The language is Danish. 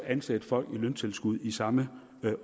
ansætte folk i løntilskud i samme